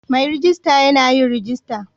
Mai rejista Yan yin rajista